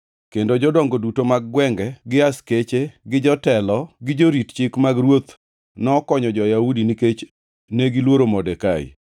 Kendo jodongo duto mag gwenge, gi askeche, gi jotelo, gi jorit chik mag ruoth nokonyo jo-Yahudi nikech negiluoro Modekai.